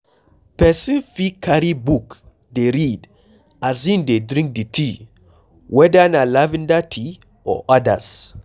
Person fit carry book dey read as im dey drink di tea, weda na lavender tea or odas